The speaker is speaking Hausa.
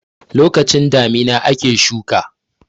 lokacin damina ake shuka